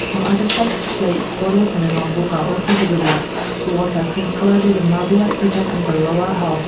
some items like plates bottles and a notebook are also visible walls are cream colour with a marble like pattern on the lower half.